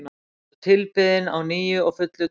hún var tilbeðin á nýju og fullu tungli